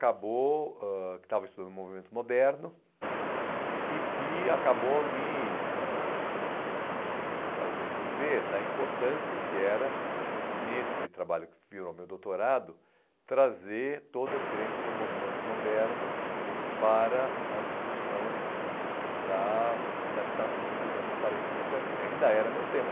acabou ãh que estava estudando o movimento moderno e que acabou me ãh me fazendo ver da importância que era, nesse trabalho que virou meu doutorado, trazer toda a experiência do movimento moderno para a discussão da da habitação dos anos quarenta e cinquenta que ainda era meu tema.